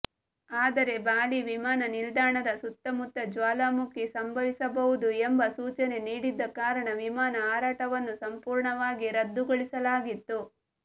ಆದರೆ ಬಾಲಿ ವಿಮಾನ ನಿಲ್ದಾಣದ ಸುತ್ತಮುತ್ತ ಜ್ವಾಲಾಮುಖಿ ಸಂಭವಿಸಬಹುದು ಎಂಬ ಸೂಚನೆ ನೀಡಿದ್ದ ಕಾರಣ ವಿಮಾನ ಹಾರಾಟವನ್ನು ಸಂಪೂರ್ಣವಾಗಿ ರದ್ದುಗೊಳಿಸಲಾಗಿತ್ತು